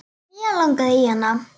Mig langaði í hana.